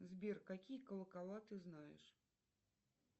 сбер какие колокола ты знаешь